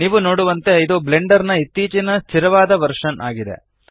ನೀವು ನೋಡುವಂತೆ ಇದು ಬ್ಲೆಂಡರ್ ನ ಇತ್ತೀಚಿನ ಸ್ಥಿರವಾದ ವರ್ಶನ್ ಇದೆ